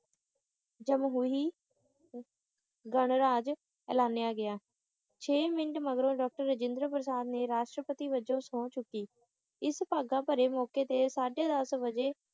ਜਮਹੂਰੀ ਗਣਰਾਜ ਐਲਾਨਿਆ ਗਿਆ ਛੇ ਮਿੰਟ ਮਗਰੋਂ ਡਾਕਟਰ ਰਾਜੇਂਦਰ ਪ੍ਰਸਾਦ ਨੇ ਪਸ਼ਟ੍ਰਪਤੀ ਵੱਜੋਂ ਸਹੁੰ ਚੁੱਕੀ ਇਸ ਭਾਗਾਂ ਭਰੇ ਮੌਕੇ ਤੇ ਸਾਢੇ ਦਸ ਵਜੇ